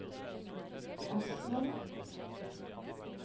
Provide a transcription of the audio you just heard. Askvoll